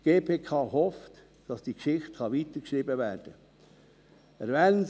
Die GPK hofft, dass diese Geschichte weitergeschrieben werden kann.